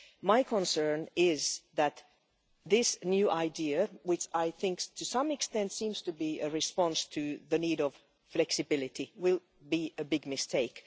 My concern is that this new idea, which I think to some extent seems to be a response to the need for flexibility, will be a big mistake.